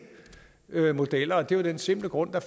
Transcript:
modeller og det er af den simple grund at